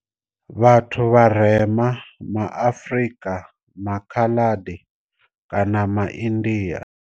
Vhathu vharema ma Afrika, ma Khaladi kana ma India.